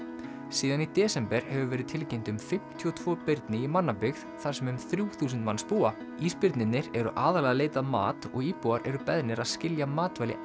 síðan í desember hefur verið tilkynnt um fimmtíu og tvö birni í mannabyggð þar sem um þrjú þúsund manns búa ísbirnirnir eru aðallega að leita að mat og íbúar eru beðnir að skilja matvæli